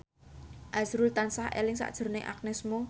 azrul tansah eling sakjroning Agnes Mo